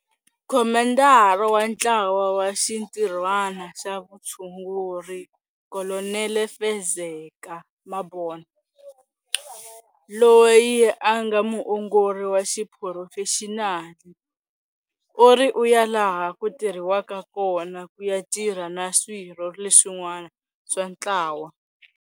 Khomandara wa Ntlawa wa Xintirhwana xa Vutshunguri Kolonele Fezeka Mabona, loyi a nga muongori wa xiphurofexinali, u ri u ya laha ku tirhiwaka kona ku ya tirha na swirho leswin'wana swa ntlawa.